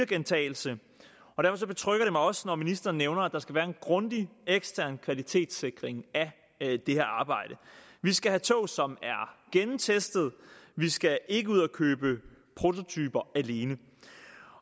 gentagelse og derfor betrygger det mig også når ministeren nævner at der skal være en grundig ekstern kvalitetssikring af det her arbejde vi skal have tog som er gennemtestede vi skal ikke ud at købe prototyper alene